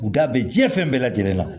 U da bɛ diɲɛ fɛn bɛɛ lajɛlen la